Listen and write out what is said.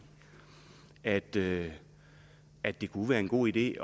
at det at det kunne være en god idé